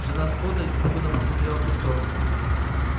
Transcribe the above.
жена скотта испуганно посмотрела в ту сторону